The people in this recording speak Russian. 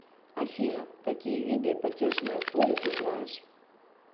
афина какие виды потешное поле ты знаешь